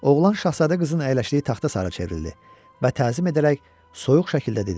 Oğlan şahzadə qızın əyləşdiyi taxta sarı çevrildi və təzim edərək soyuq şəkildə dedi: